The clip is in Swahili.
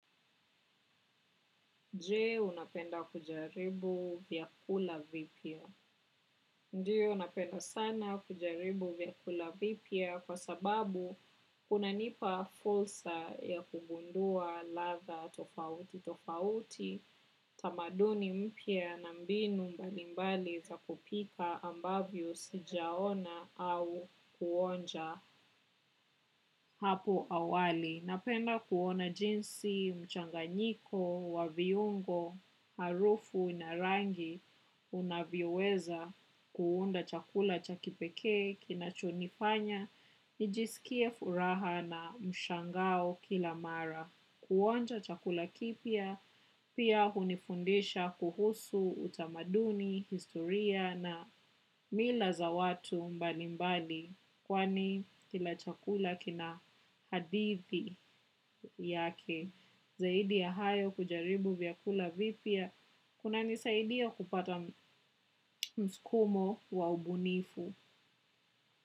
Je, unapenda kujaribu vyakula vipya? Ndiy napenda sana kujaribu vyakula vipya kwa sababu una nipa fursa ya kugundua ladha tofauti tofauti tamaduni mpya na mbinu mbalimbali za kupika ambavyo sijaona au kuonja hapo awali. Napenda kuona jinsi mchanganyiko wa viungo harufu na rangi unavyoweza kuunda chakula cha kipekee kinachonifanya nijisikie furaha na mshangao kila mara. Kuonja chakula kipya pia hunifundisha kuhusu utamaduni, historia na mila za watu mbali mbali kwani kila chakula kina hadithi yake zaidi ya hayo kujaribu vyakula vipya kuna nisaidia kupata mskumo wa ubunifu.